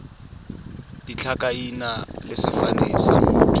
ditlhakaina le sefane sa motho